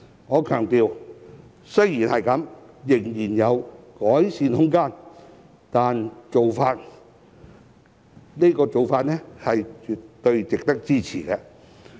儘管如此，我強調仍有改善的空間，但這個做法是絕對值得支持的。